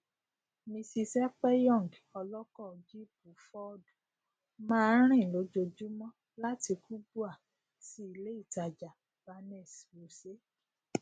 mrs ekpenyong ọlọkọ jípù fọọdù máa ń rìn lójoojúmọ láti kubwa sí ilé ìtajà banex wuse